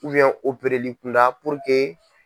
opereli kunda